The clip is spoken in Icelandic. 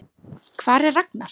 Hvar er Ragnar?